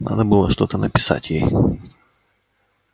надо было что-то написать ей